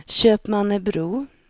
Köpmannebro